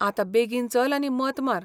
आतां बेगीन चल आनी मत मार.